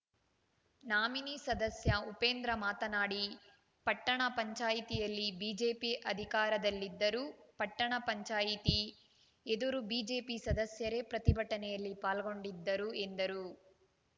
nominee ಸದಸ್ಯ ಉಪೇಂದ್ರ ಮಾತನಾಡಿ ಪಟ್ಟಣ ಪಂಚಾಯಿತಿಯಲ್ಲಿ ಬಿಜೆಪಿ ಅಧಿಕಾರದಲ್ಲಿದ್ದರೂ ಪಟ್ಟಣ ಪಂಚಾಯಿತಿ ಎದುರು ಬಿಜೆಪಿ ಸದಸ್ಯರೇ ಪ್ರತಿಭಟನೆಯಲ್ಲಿ ಪಾಲ್ಗೊಂಡಿದ್ದರು ಎಂದರು